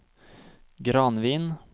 Granvin